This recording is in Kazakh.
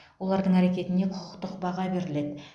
олардың әрекетіне құқықтық баға беріледі